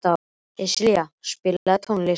Íslilja, spilaðu tónlist.